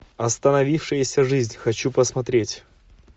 остановившаяся жизнь хочу посмотреть